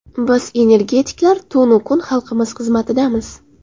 Biz energetiklar tun-u kun xalqimiz xizmatidamiz.